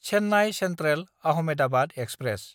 Chennai सेन्ट्रेल–आहमेदाबाद express